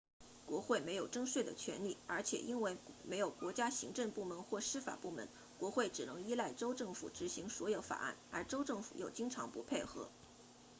国会没有征税的权力而且因为没有国家行政部门或司法部门国会只能依赖州政府执行所有法案而州政府又经常不配合